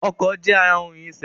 Ọkọ̀ je ara ohun ìrìnṣẹ̀